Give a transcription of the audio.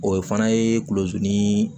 O fana ye kulosi ni